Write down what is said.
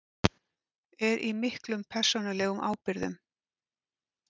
Er í miklum persónulegum ábyrgðum